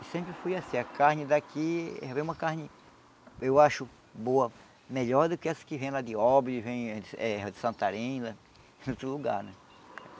E sempre foi assim, a carne daqui é uma carne, eu acho, boa, melhor do que essa que vem lá de Obre, vem eh de Santarém, lá de outro lugar, né?